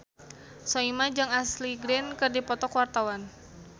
Soimah jeung Ashley Greene keur dipoto ku wartawan